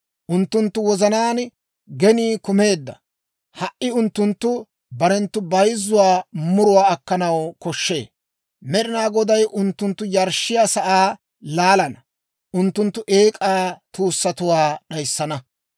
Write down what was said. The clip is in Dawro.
Unttunttu wozanaan genii kumeedda; ha"i unttunttu barenttu bayzzuwaa muruwaa akkanaw koshshee. Med'inaa Goday unttunttu yarshshiyaa sa'aa laalana; unttunttu eek'aa tuussatuwaa d'ayissana.